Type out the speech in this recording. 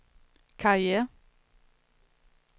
karriere